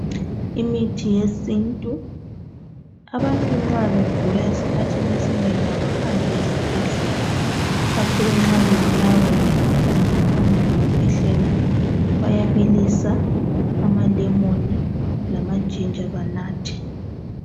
Imithi yesintu abantu nxa begula esikhathini esinengi abahambi esibhedlela ikakhulu nxa bebulawa yimkhuhlane efana lokukhwehlela bayabilisa amalemoni lamajinja banathe.